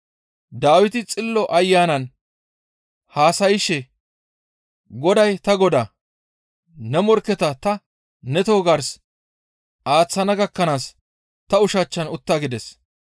Dawiti Xillo Ayanan haasayshe, ‹Goday ta Godaa, ne morkketa ta ne toho gars aaththana gakkanaas ta ushachchan utta› gides.